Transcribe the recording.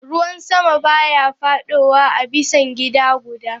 Ruwan sama baya fadowa a bisan gida gudda.